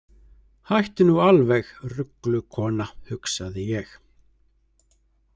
Hættu nú alveg, ruglukona, hugsaði ég.